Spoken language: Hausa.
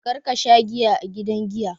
Kar ka sha giya a gidan giya!